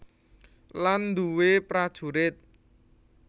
Lan duwé prajurit